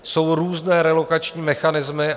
Jsou různé relokační mechanismy.